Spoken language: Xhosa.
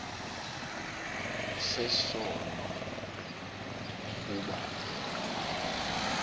sesono kuba yena